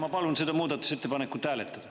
Ma palun seda muudatusettepanekut hääletada.